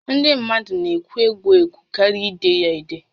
Ndị mmadụ ekwe égwú ékwé karịa ide ya édé